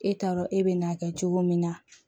E t'a dɔn e bɛ n'a kɛ cogo min na